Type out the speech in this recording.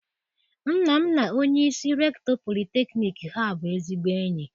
Nna m na onyeisi rektọ politekniik Ha bụ ezigbo enyi.